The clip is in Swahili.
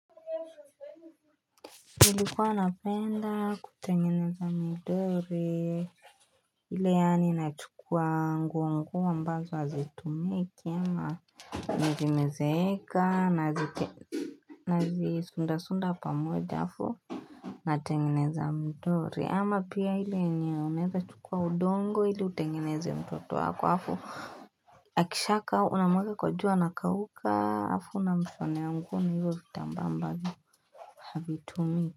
Ilikuwa napenda kutengeneza mdori ile yaani na chukua nguo nguo ambazo hazitumiki ama vimezeeka nazisunda sunda pamoja halafu natengeneza mdori ama pia ile yenye unaeza chukua udongo ili utengeneze mtoto wako halafu Akishakka unamweka kwa jua anakauka halafu una mshonea nguo na hivyo vitambaa ambavyo havitumii.